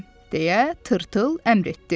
- deyə Tırtıl əmr etdi.